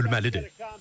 Bu gülməlidir.